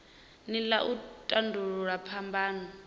nila ya u tandululwa phambano